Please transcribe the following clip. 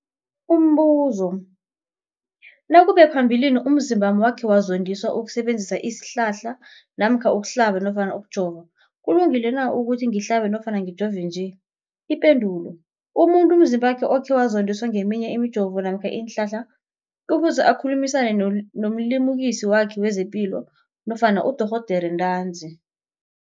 Umbuzo, nakube phambilini umzimbami wakhe wazondiswa kusebenzisa isihlahla namkha ukuhlaba nofana ukujova, kulungile na ukuthi ngihlabe nofana ngijove nje? Ipendulo, umuntu umzimbakhe okhe wazondiswa ngeminye imijovo namkha iinhlahla kufuze akhulumisane nomlimukisi wakhe wezepilo nofana nodorhoderakhe ntanzi.